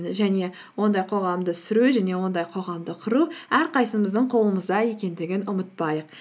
және ондай қоғамда сүру және ондай қоғамды құру әрқайсымыздың қолымызда екендігін ұмытпайық